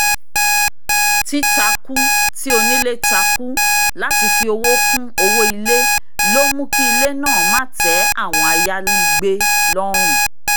títakú tí onílé takú láti fí owó kún owó ilé ló mú kí ilé náà má tẹ́ àwọn ayàlégbé lọ́rùn